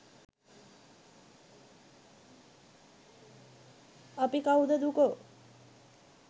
අපි කවුද දුකෝ?